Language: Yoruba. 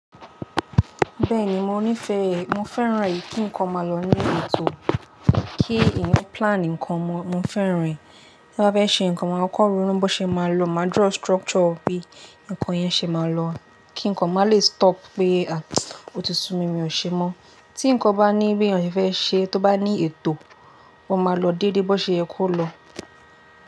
Bẹ́ẹ̀ni, mo nífẹ̀ẹ́, mo fẹ́ràn èyí kí ǹkan máa lọ ní ètò, kí eyan ma plan ǹkan mọ̀, mo fẹ́ràn ẹ̀. Tí a bá fẹ́ ṣe ǹkan, ma koko ronu bo ṣe máa lọ, máa draw structure bí ǹkan yẹn ṣe máa lọ, kí ǹkan máa le stop pé aàh otí sun mi, mi ò ṣe mọ́. Tí ǹkan bá ní bí èèyàn se fẹ́ ṣe, tó bá ní ètò, ó máa lọ dédé bó ṣe ye kó lọ.